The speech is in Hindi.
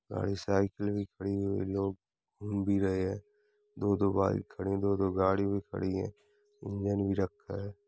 घणी साइकिल भी खड़ी हुई है। लोग घूम भी रहे है। दो दो बाइक खड़ी है दो दो गाड़ी भी खड़ी है। इंजन भी रखा है।